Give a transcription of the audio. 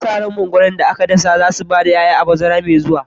Ana sa ran itatuwan mangwaro da aka dasa za su ba da 'ya'ya a bazara mai zuwa.